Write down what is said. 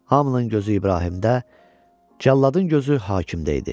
Hamının gözü İbrahimdə, cəlladın gözü hakimdə idi.